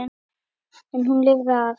En hún lifði af.